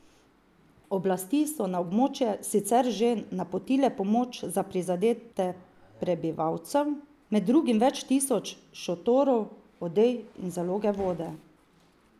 Oblasti so na območje sicer že napotile pomoč za prizadete prebivalcev, med drugim več tisoč šotorov, odej in zaloge vode.